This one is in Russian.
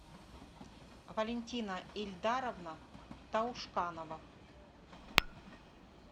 валентина эльдаровна таушканова